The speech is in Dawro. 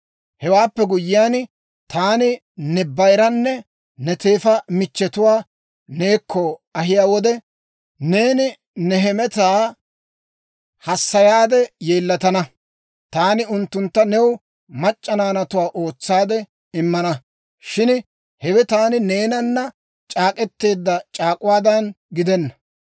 Hewaappe guyyiyaan, taani ne bayiranne ne teefa michchetuwaa neekko ahiyaa wode, neeni ne hemetaa hassayaade yeellatana. Taani unttuntta new mac'c'a naanatuwaa ootsaade immana; shin hewe taani neenana c'aak'k'eteedda c'aak'uwaadan gidenna.